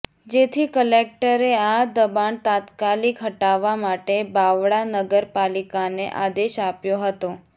જેથી કલેક્ટરે આ દબાણ તાત્કાલિક હટાવવા માટે બાવળા નગરપાલિકાને આદેશ આપ્યો હતો